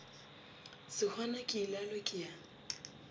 sehwana ke ilalo ke ya